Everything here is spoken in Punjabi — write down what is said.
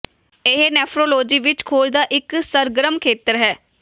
ਇਹ ਨੈਫਰੋਲੋਜੀ ਵਿੱਚ ਖੋਜ ਦਾ ਇੱਕ ਸਰਗਰਮ ਖੇਤਰ ਹੈ